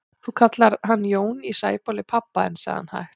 Þú kallar hann Jón í Sæbóli pabba þinn, sagði hann hægt.